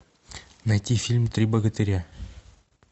найти фильм три богатыря